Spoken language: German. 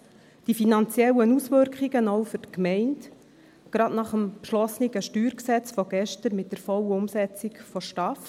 Erstens: die finanziellen Auswirkungen, auch für die Gemeinden, gerade nach dem beschlossenen StG von gestern mit der vollen Umsetzung der STAF.